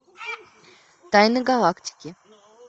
тайны галактики